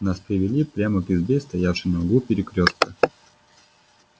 нас привели прямо к избе стоявшей на углу перекрёстка